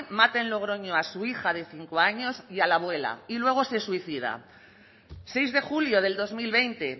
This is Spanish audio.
mata en logroño a su hija de cinco años y a la abuela y luego se suicida seis de julio del dos mil veinte